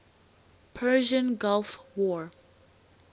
persian gulf war